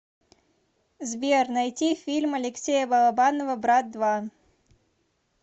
сбер найти фильм алексея балабанова брат два